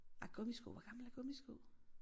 Ah gummisko hvor gamle er gummisko